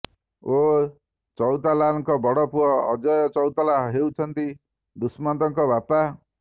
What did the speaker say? ଓଁ ଚଉତାଲାଙ୍କ ବଡ଼ ପୁଅ ଅଜୟ ଚଉତାଲା ହେଉଛନ୍ତି ଦୁଷ୍ମନ୍ତଙ୍କ ବାପା